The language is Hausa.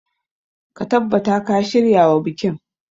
Ka tabbata ka shiryawa bikin.